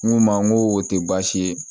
N ko n ma n ko o tɛ baasi ye